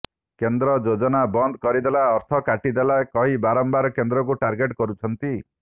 କେନ୍ଦ୍ର ଯୋଜନା ବନ୍ଦ କରିଦେଲା ଅର୍ଥ କାଟି ଦେଲା କହି ବାରମ୍ବାର କେନ୍ଦ୍ରକୁ ଟାର୍ଗେଟ କରୁଛନ୍ତି